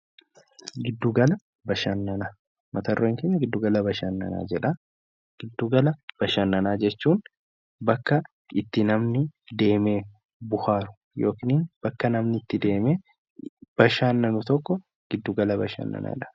Giddugala Bashannanaa Mata dureen keenya "Giddugala Bashannanaa" jedha. Giddugala Bashannanaa jechuun bakka itti namni deemee bohaaru yookiin bakka namni itti deemee bashannanu tokko Giddugala Bashannanaa dha.